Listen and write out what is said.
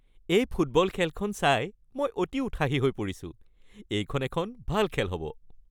এই ফুটবল খেলখন চাই মই অতি উৎসাহী হৈ পৰিছোঁ! এইখন এখন ভাল খেল হ'ব।